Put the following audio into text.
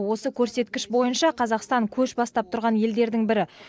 осы көрсеткіш бойынша қазақстан көш бастап тұрған елдердің бірі